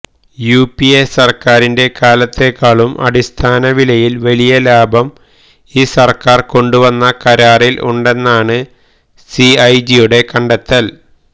UPA സര്ക്കാരിന്റെ കാലത്തേക്കാളും അടിസ്ഥാന വിലയില് വലിയ ലാഭം ഈ സര്ക്കാര് കൊണ്ടുവന്ന കരാറില് ഉണ്ടെന്നാണ് സിഎജിയുടെ കണ്ടെത്തല്